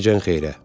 Gecən xeyrə.